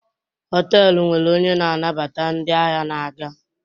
họtelu nwere onye na-anabata ndị ahịa na-aga